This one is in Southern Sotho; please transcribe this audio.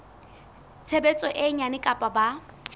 tshebetso e nyane kapa ba